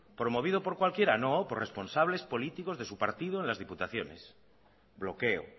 promovido por cualquiera no por responsables políticos de su partido en las diputaciones bloqueo